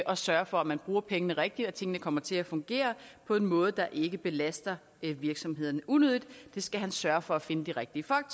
og sørger for at man bruger pengene rigtigt og at tingene kommer til at fungere på en måde der ikke belaster virksomhederne unødigt det skal han sørge for at finde de rigtige folk